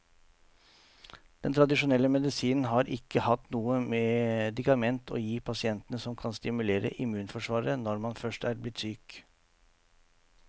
Den tradisjonelle medisinen har ikke hatt noe medikament å gi pasientene som kan stimulere immunforsvaret når man først er blitt syk.